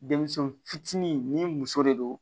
Denmisɛnw fitinin ni muso de don